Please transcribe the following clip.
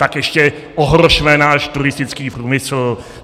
Tak ještě ohrozme náš turistický průmysl.